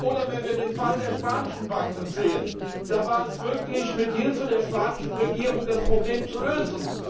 Oder wenn wir den Fall der spanischen Banken sehen Da war es möglich, mit Hilfe der spanischen Regierung das Problem zu lösen.